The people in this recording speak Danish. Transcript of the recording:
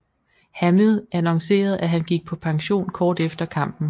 Hamill annoncerede at han gik på pension kort efter kampen